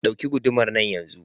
Ɗauki gudumar nan yanzu!